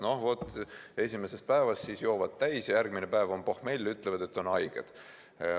Noh kui esimesest päevast, siis joovad täis, järgmine päev on pohmell ja ütlevad, et on haiged.